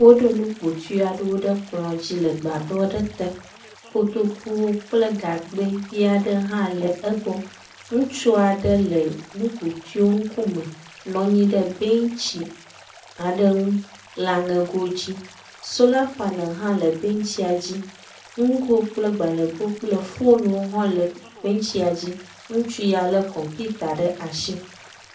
Wóɖó nukpotuiaɖewo ɖe kplɔ̃ dzi le gbadɔɖe te. Kotokuwo kple gagbɛ viaɖe hã le egbɔ. Ŋutsuaɖe le nukpotuiwo ŋkume nɔnyi ɖe bɛntsi aɖe ŋu le aŋegodzi. Sola panel hã le bɛntsia dzi. Ŋgo kple gbãlego kple fonwo hã le benchia dzi. Ŋutsuya le computer ɖe asi.